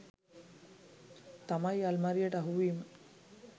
තමයි අල්මාරියට අහුවීම.